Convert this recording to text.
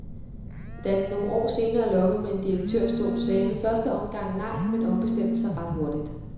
Da de nogle år senere lokkede med en direktørstol, sagde han i første omgang nej, men ombestemte sig ret hurtigt.